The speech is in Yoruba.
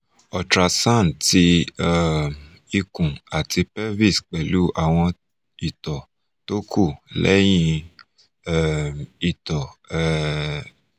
ultrasound ti um ikun ati pelvis pẹlu awon ito to ku lehin um ito um